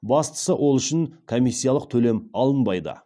бастысы ол үшін комиссиялық төлем алынбайды